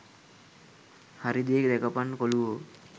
හරි දේ දැකපන් කොලුවෝ.